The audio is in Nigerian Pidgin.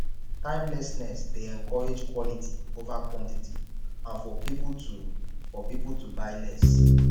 timelessness dey encourage quality over quantity and for pipo to for pipo to buy less